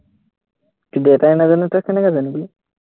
তোৰ দেউতাই নাজানে, তই কেনেকে জানিবি